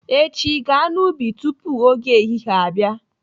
Echi, gaa n'ubi tupu oge ehihie abịa!